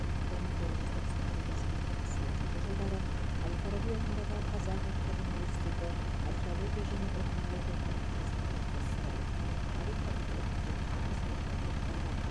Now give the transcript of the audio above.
бір мың тоғыз жүз тоқсан тоғыз екі мың сегізінші жылдары жылдары әл фараби атындағы қазақ ұлттық университеті археология және этнология кафедрасының профессоры тарих факультетінің деканы қызметтерін атқарған